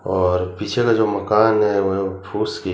और पीछे में जो मकान है वह फुस की --